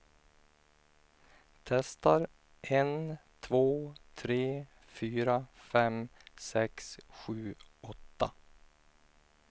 Testar en två tre fyra fem sex sju åtta.